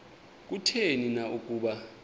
kutheni na ukuba